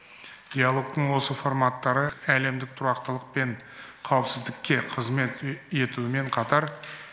диалогтың осы форматтары әлемдік тұрақтылық пен қауіпсіздікке қызмет етумен қатар